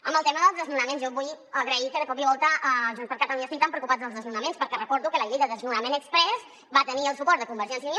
en el tema dels desnonaments jo vull agrair que de cop i volta junts per catalunya estiguin tan preocupats pels desnonaments perquè recordo que la llei de desnonament exprés va tenir el suport de convergència i unió